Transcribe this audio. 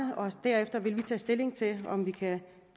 derefter vil vi tage stilling til om vi kan